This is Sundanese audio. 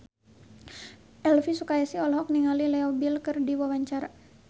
Elvi Sukaesih olohok ningali Leo Bill keur diwawancara